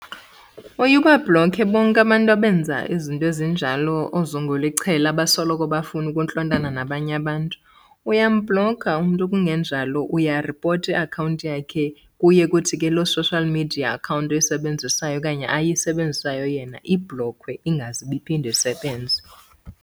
Uye ubabhlokhe bonke abantu abenza izinto ezinjalo, oozungulichela abasoloko befuna ukuntlontana nabanye abantu. Uyambhlokha umntu kungenjalo uyaripota iakhawunti yakhe. Kuye kuthi ke loo social media account oyisebenzisayo okanye ayisebenzisayo yena ibhlokhwe ingaze ibe iphinde isebenze.